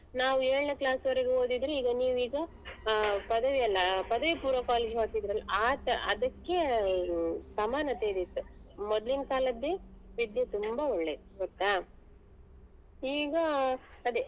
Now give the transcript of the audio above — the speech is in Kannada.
ನಾವ್ ಏಳ್ನೇ class ವರೆಗು ಓದಿದ್ರೆ ಈಗ ನೀವ್ ಈಗ ಅಹ್ ಪದವಿ ಅಲ್ಲ ಪದವಿ ಪೂರ್ವ college ಗೆ ಹೋಗ್ತಿದ್ರಿ ಅಲ್ಲ ಆತರ ಅದಕ್ಕೆ ಹ್ಮ್ ಸಮಾನತೆ ಇದ್ದಿತ್ತ್ ಮೊದ್ಲಿನ್ ಕಾಲದ್ದೇ ವಿದ್ಯೆ ತುಂಬಾ ಒಳ್ಳೇದು ಗೊತ್ತಾ ಈಗ ಅದೇ.